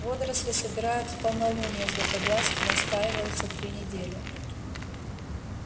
водоросли собирают в полнолуние златоглазки настаиваются три недели